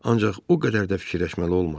Ancaq o qədər də fikirləşməli olmadı.